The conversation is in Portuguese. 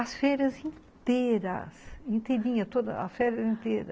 As feiras inteiras, inteirinha toda, a féria inteira.